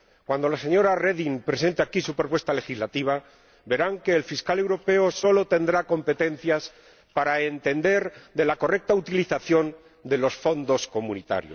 Cuando la señora Reding presente aquí su propuesta legislativa, verán que el Fiscal Europeo solo tendrá competencias para entender de la correcta utilización de los fondos de la Unión.